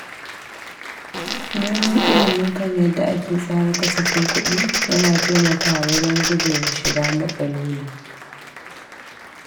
Neman ilimi kan yadda ake tsara kasafin kuɗi yana taimakawa wajen guje wa shiga matsaloli.